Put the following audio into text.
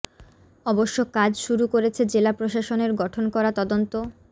অবশ্য কাজ শুরু করেছে জেলা প্রশাসনের গঠন করা তদন্ত